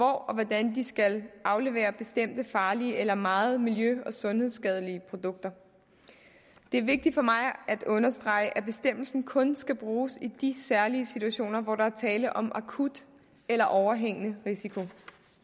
hvordan de skal aflevere bestemte farlige eller meget miljø og sundhedsskadelige produkter det er vigtigt for mig at understrege at bestemmelsen kun skal bruges i de særlige situationer hvor der er tale om akut eller overhængende risiko